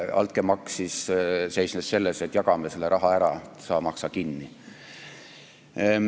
Altkäemaks seisnes ettepanekus, et jagame selle raha ära, sa maksa kinni.